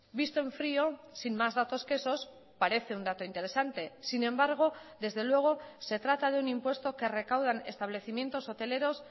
visto en frío sin más datos que esos parece un dato interesante sin embargo desde luego se trata de un impuesto que recaudan establecimientos hoteleros